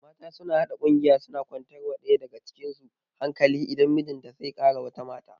Mata suna haɗa ƙungiya suna kwantar wa ɗaya daga cikin su hankali idan mijinta zai kara wata mata